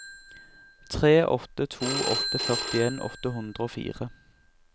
tre åtte to åtte førtien åtte hundre og fire